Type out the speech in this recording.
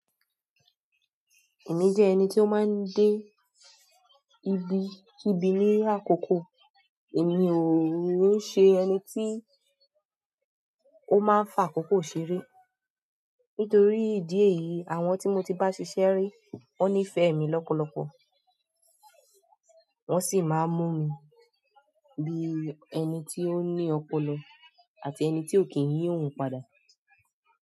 Èmi jẹ́ ẹni tí ó máa ń dé ibi kíbi ní àkókò, èmi ò n ṣe ẹni tí ó máa ń fi àkókò ṣeré. Nítorí ìdí èyí, àwọn tí mo ti bá ṣiṣẹ́ rí, wón níìfẹ̀ẹ́ mi lọ́pọ̀lọpọ̀, wọ́n sì máa ń mú mi bí ẹni tí ó ní ọpọlọ àti ẹni tí ò kí ń yí òhun padà.